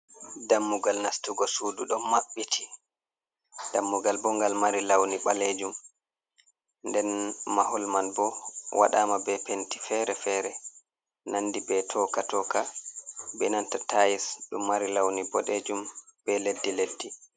Dammugal nastugo sudu ɗo maɓɓiti, dammugal bo ngal mari launi ɓalejum, nden mahol man bo waɗama be penti fere-fere nandi be toka- toka be nanta tais ɗo mari launi boɗejum be leddi - leddi.